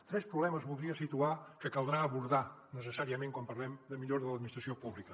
tres problemes voldria situar que caldrà abordar necessàriament quan parlem de millora de l’administració pública